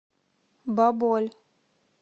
баболь